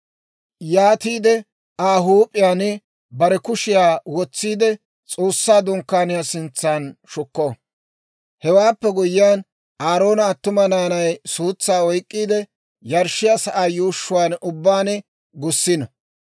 Yaatiide Aa huup'iyaan bare kushiyaa wotsiide, S'oossaa Dunkkaaniyaa sintsan shukko. Hewaappe guyyiyaan, Aaroona attuma naanay suutsaa oyk'k'iide, yarshshiyaa sa'aa yuushshuwaan ubbaan gussiino.